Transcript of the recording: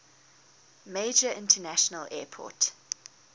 major international airport